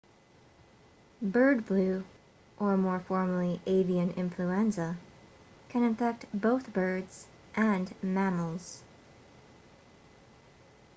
bird flu or more formally avian influenza can infect both birds and mammals